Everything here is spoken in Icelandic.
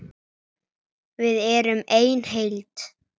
Við erum ein heild!